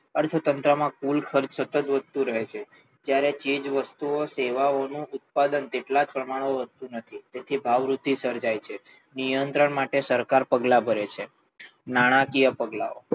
અર્થતંત્રમાં કુલ ખર્ચ સતત વધતું રહે છે જ્યારે ચીજ વસ્તુઓ સેવાઓનું ઉત્પાદન તેટલા જ પ્રમાણમાં વધતું નથી તેથી ભાવવૃદ્ધિ સર્જાય છે નિયંત્રણ માટે સરકાર પગલાં ભરે છે નાણાંકીય પગલાંઓ